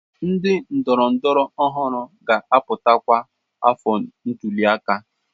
Ndị ndọrọndọrọ ọhụrụ ga-apụta kwa afọ ntuli aka.